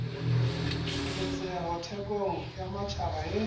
keketseho thekong ya matjhaba e